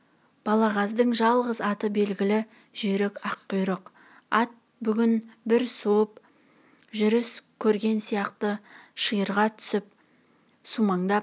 балағаздың жалғыз аты белгілі жүйрік аққұйрық ат бүгін бір суыт жүріс көрген сияқты ширыға тусіп сумаңдап